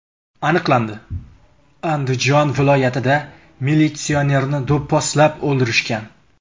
Aniqlandi: Andijon viloyatida militsionerni do‘pposlab o‘ldirishgan.